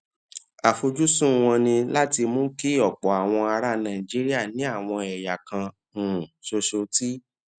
àfojúsùn wọn ni láti mú kí ọpọ àwọn ará nàìjíríà ní àwọn ẹyà kan um ṣoṣo tí